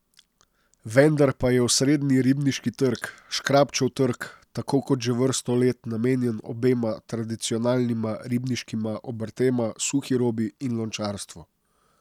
Vendar pa je osrednji ribniški trg, Škrabčev trg, tako kot že vrsto let namenjen obema tradicionalnima ribniškima obrtema, suhi robi in lončarstvu.